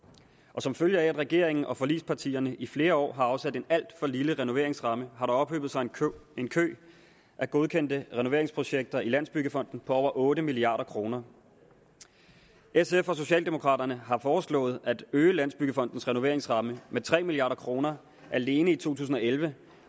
og som følge af at regeringen og forligspartierne i flere år har afsat en alt for lille renoveringsramme har der ophobet sig en kø af godkendte renoveringsprojekter i landsbyggefonden for over otte milliard kroner sf og socialdemokraterne har foreslået at øge landsbyggefondens renoveringsramme med tre milliard kroner alene i to tusind og elleve